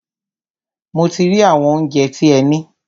Mo ti rí àwọn óunjẹ tí ẹ ní.